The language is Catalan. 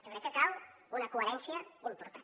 jo crec que cal una coherència important